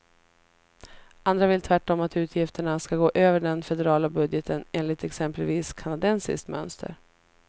Andra vill tvärtom att utgifterna ska gå över den federala budgeten, enligt exempelvis kanadensiskt mönster.